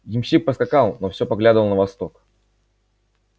ямщик поскакал но все поглядывал на восток